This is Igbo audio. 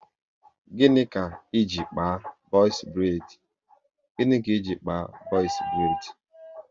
Gịnị ka iji kpaa box braidi?